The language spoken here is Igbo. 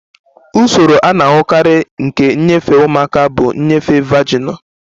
Usoro a na-ahụkarị nke nnyefe ụmụaka bụ nnyefe vaginal